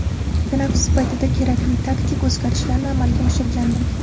Tanaffus paytida kerakli taktik o‘zgarishlarni amalga oshirgandim.